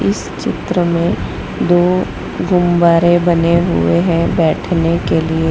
इस चित्र में दो गुम्बारे बने हुए हैं बैठने के लिए --